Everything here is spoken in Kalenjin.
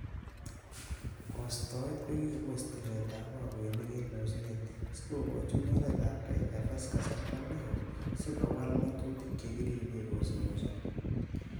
Kostoet kokipos tiletab bokoinik en osnet, sikookochi mornetab KFS, kasarta neo so kowal ngatutik cheribe osnosiek.